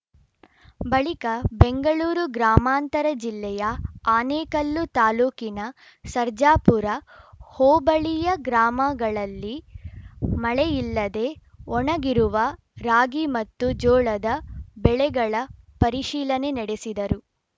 ಬಳಿಕ ಬೆಂಗಳೂರು ಗ್ರಾಮಾಂತರ ಜಿಲ್ಲೆಯ ಆನೇಕಲ್ಲು ತಾಲೂಕಿನ ಸರ್ಜಾಪುರ ಹೋಬಳಿಯ ಗ್ರಾಮಗಳಲ್ಲಿ ಮಳೆಯಿಲ್ಲದೆ ಒಣಗಿರುವ ರಾಗಿ ಮತ್ತು ಜೋಳದ ಬೆಳೆಗಳ ಪರಿಶೀಲನೆ ನಡೆಸಿದರು